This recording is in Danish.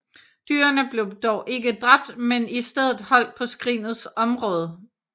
Dyrene blev dog ikke dræbt men i stedet holdt på skrinets område